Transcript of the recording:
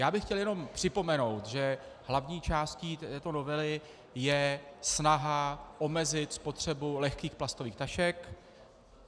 Já bych chtěl jenom připomenout, že hlavní částí této novely je snaha omezit spotřebu lehkých plastových tašek.